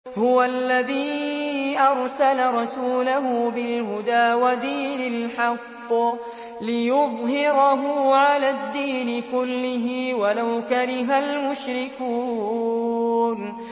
هُوَ الَّذِي أَرْسَلَ رَسُولَهُ بِالْهُدَىٰ وَدِينِ الْحَقِّ لِيُظْهِرَهُ عَلَى الدِّينِ كُلِّهِ وَلَوْ كَرِهَ الْمُشْرِكُونَ